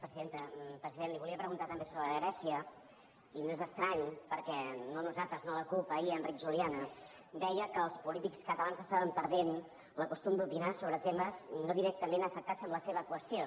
president li volia preguntar també sobre grècia i no és estrany perquè no nosaltres no la cup ahir enric juliana deia que els polítics catalans estaven perdent el costum d’opinar sobre temes no directament afectats en la seva qüestió